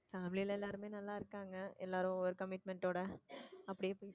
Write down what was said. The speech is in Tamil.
family ல எல்லாருமே நல்லா இருக்காங்க எல்லாரும் ஒரு commitment ஓட அப்படியே போகுது